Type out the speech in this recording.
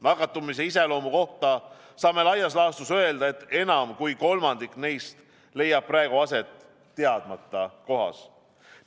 Nakatumise iseloomu kohta saame laias laastus öelda, et enam kui kolmandik neist leiab praegu aset teadmata kohas.